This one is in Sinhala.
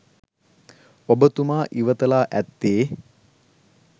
ඔබතුමා ඉවත ලා ඇත්තේ